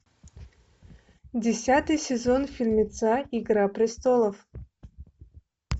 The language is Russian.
десятый сезон фильмеца игра престолов